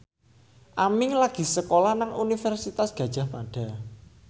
Aming lagi sekolah nang Universitas Gadjah Mada